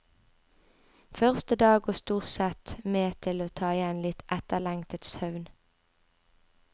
Første dag går stort sett med til å ta igjen litt etterlengtet søvn.